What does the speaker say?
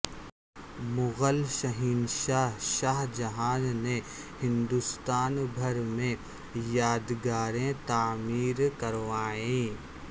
مغل شہنشاہ شاہ جہان نے ہندوستان بھر میں یادگاریں تعمیر کروائیں